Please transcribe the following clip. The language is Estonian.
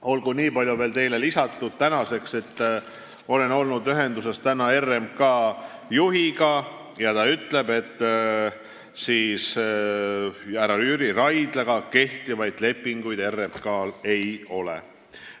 Olgu veel nii palju lisatud, et olin täna ühenduses RMK juhiga, kes ütles, et härra Jüri Raidlaga RMK-l kehtivaid lepinguid ei ole.